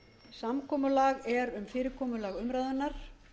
samkomulag er um fyrirkomulag umræðunnar